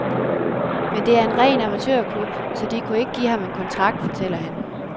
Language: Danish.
Men det er en ren amatørklub, så de kunne ikke give ham en kontrakt, fortæller han.